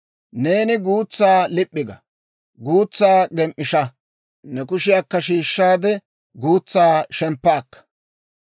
Neeni guutsaa lip'p'i ga; guutsaa gem"ishsha; ne kushiyaakka shiishshaade guutsaa shemppa akka.